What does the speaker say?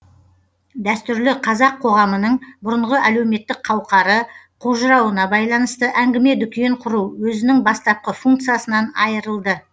дәстүрлі қазақ коғамының бұрынғы әлеуметтік қауқары қожырауына байланысты әңгіме дүкен құру өзінің бастапқы функциясынан айырылды